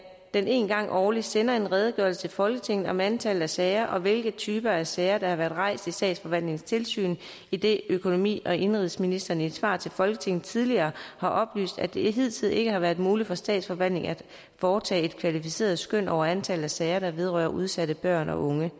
den en gang årligt sender en redegørelse til folketinget om antallet af sager og hvilke typer af sager der har været rejst i statsforvaltningens tilsyn idet økonomi og indenrigsministeren i et svar til folketinget tidligere har oplyst at det hidtil ikke har været muligt for statsforvaltningen at foretage et kvalificeret skøn over antallet af sager der vedrører udsatte børn og unge